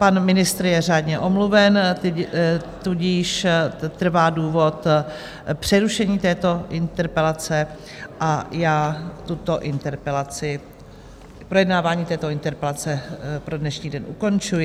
Pan ministr je řádně omluven, tudíž trvá důvod přerušení této interpelace, a já tuto interpelaci... projednávání této interpelace pro dnešní den ukončuji.